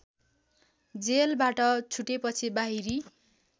जेलबाट छुटेपछि बाहिरी